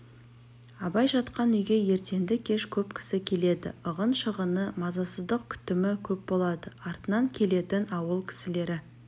абай жатқан үйге ертенді-кеш көп кісі келеді ығын-шығыны мазасыздық күтімі көп болады артынан келетін ауыл кісілері